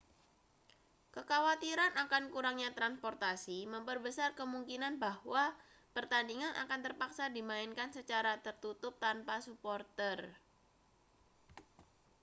kekhawatiran akan kurangnya transportasi memperbesar kemungkinan bahwa pertandingan akan terpaksa dimainkan secara tertutup tanpa suporter